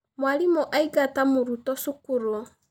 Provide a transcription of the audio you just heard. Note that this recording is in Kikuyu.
Mwarimũ aingata mũrutwo cukuru.